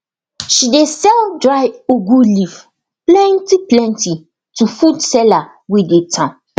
she dey sell dry ugu leaf plentyplenty to food seller wey dey town